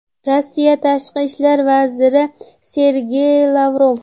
Rossiya Tashqi ishlar vaziri Sergey Lavrov.